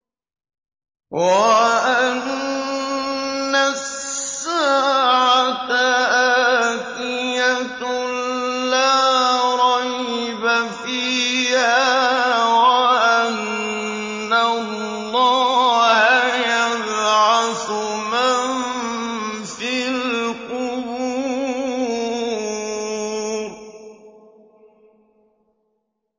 وَأَنَّ السَّاعَةَ آتِيَةٌ لَّا رَيْبَ فِيهَا وَأَنَّ اللَّهَ يَبْعَثُ مَن فِي الْقُبُورِ